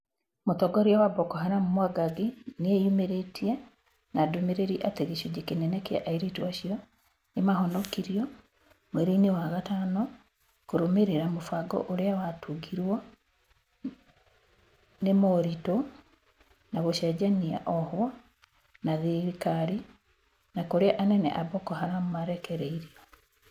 Mũtongoria wa Boko Haram Mwangangi, nĩeyumĩrĩtie na ndũmĩrĩri atĩ gĩcunji kĩnene kĩa airĩtũ acio nĩmahonokirio mweri-inĩ wa gatano kũrũmĩrĩra mũbango ũrĩa watungirwo nĩ moritũ ma gũcenjania ohwo na thirikari na kurĩa anene a Boko Haram marekereirio.